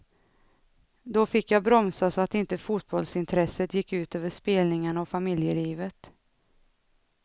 Då fick jag bromsa så att inte fotbollsintresset gick ut över spelningarna och familjelivet.